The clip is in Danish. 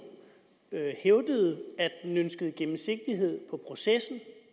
hævdede at den ønskede gennemsigtighed i processen